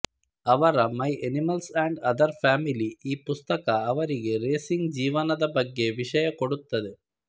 ಅವರ my animals and other family ಈ ಪುಸ್ತಕ ಅವರ ರೇಸಿಂಗ್ ಜೀವನದ ಬಗ್ಗೆ ವಿಶಯ ಕೊಡುತ್ತದೆ